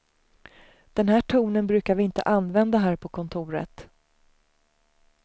Den här tonen brukar vi inte använda här på kontoret.